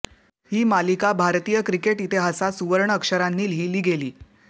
ही मालिका भारतीय क्रिकेट इतिहासात सुवर्णअक्षरांनी लिहीली गेली